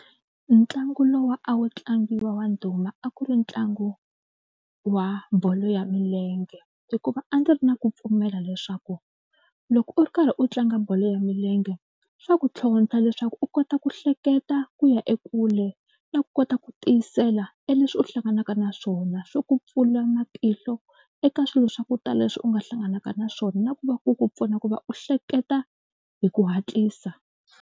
Ntlangu lowu a wu tlangiwa wa ndhuma a ku ri ntlangu wa bolo ya milenge hikuva a ndzi ri na ku pfumela leswaku loko u ri karhi u tlanga bolo ya milenge swa ku tlhontlha leswaku u kota ku hleketa ku ya ekule na ku kota ku tiyisela e leswi u hlanganaka na swona. Swi ku pfula matihlo eka swilo swa ku tala leswi u nga hlanganaka na swona na ku va ku ku pfuna ku va u hleketa hi ku hatlisa.